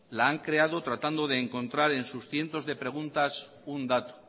la han creado tratando de encontrar en sus cientos de preguntas un dato